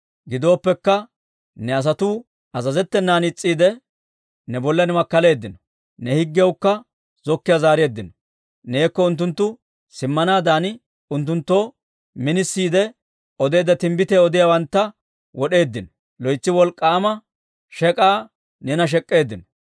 «Gidooppekka, ne asatuu azazettenan is's'iide, ne bollan makkaleeddino; ne higgiyawukka zokkiiyaa zaareeddino. Neekko unttunttu simmanaadan unttunttoo minisiide odeedda timbbitiyaa odiyaawantta wod'eeddino. Loytsi wolk'k'aama shek'k'aa neena shek'k'eeddino.